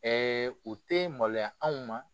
o tɛ maloya anw ma.